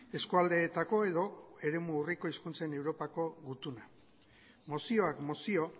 eskualdeetako edo eremu urriko hizkuntzen europako gutuna mozioak mozio